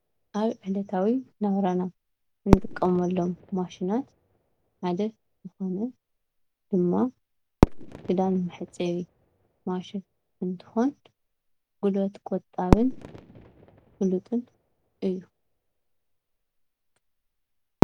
ኣብ ዕለታዊ ናብራና እንጥቀመሎም ማሽናት ሓደ ዝኮነ ድማ ክዳን መሕፀቢ ማሽን እንትኮን ጉልበት ቆጣብን ፍሉጥን እዩ።